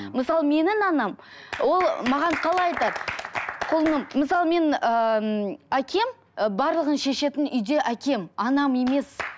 мысалы менің анам ол маған қалай айтады құлыным мысалы мен ыыы әкем барлығын шешетін үйде әкем анам емес